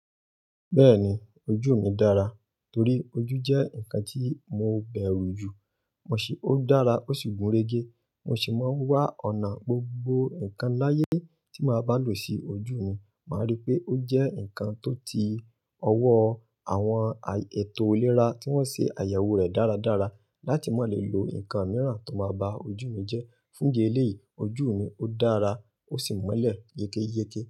Bẹ́ẹ̀ni, ojú mi dára, torí ojú jẹ́ ǹkan tí mo bẹ̀rù jù. Mo sì, ó dára ó sì gúnrégé. Mo sì máa ń wá ọ̀nà gbogbo ǹkan láyé tí màá bá lò sí ojú mi. Màá rí pé ó jẹ́ ǹkan tó ti ọwọ́ àwọn ètò iléra tí wọ́n ṣe àyẹ̀wò rẹ̀ dáradára, láti má lè lo ǹkan mìíràn tó máa ba ojú mi jẹ́. Fún idi eleyìí, ojú mi ó dára ó sì mọ́lẹ̀ yékéyéké.